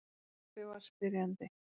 Pabbi var spyrjandi.